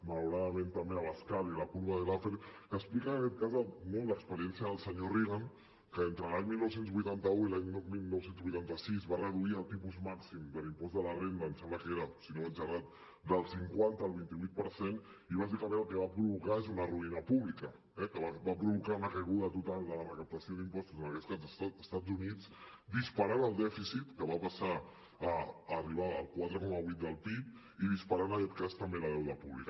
malauradament també abascal y la curva de laffer que explica en aquest cas no l’experiència del senyor reagan que entre l’any dinou vuitanta u i l’any dinou vuitanta sis va reduir el tipus màxim de l’impost de la renda em sembla que era si no vaig errat del cinquanta al vint vuit per cent i bàsicament el que va provocar és una ruïna pública eh va provocar una caiguda total de la recaptació d’impostos en aquest cas als estats units disparant el dèficit que va passar a arribar al quatre coma vuit del pib i disparant en aquest cas també el deute públic